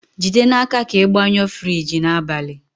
jide n'aka ka ị gbanyụọ Friji n'abalị!